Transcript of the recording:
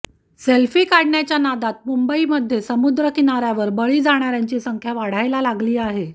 selfie काढण्याच्या नादात मुंबईमध्ये समुद्रकिनाऱ्यावर बळी जाणाऱ्यांची संख्या वाढायला लागली आहे